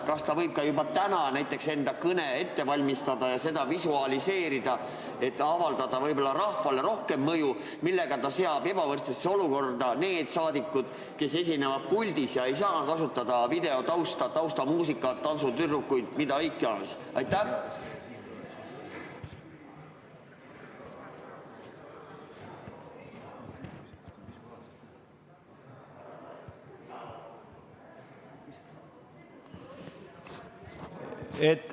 Kas ta võib juba täna enda kõne ette valmistada ja seda visualiseerida, et avaldada rahvale rohkem mõju, kuid seada sellega ebavõrdsesse olukorda need saadikud, kes esinevad puldis ega saa kasutada videotausta, taustamuusikat, tantsutüdrukuid, mida iganes?